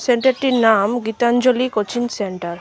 সেন্টারটির নাম Gitanjali coaching centre.